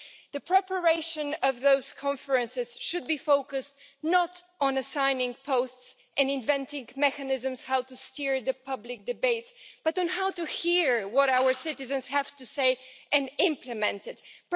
The preparation of those conferences should be focused not on assigning posts and inventing mechanisms to steer the public debates, but on how to hear what our citizens have to say and implement that.